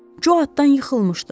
Co atdan yıxılmışdı.